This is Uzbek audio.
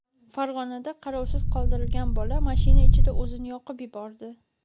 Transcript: Farg‘onada qarovsiz qoldirilgan bola mashina ichida o‘zini yoqib yubordi.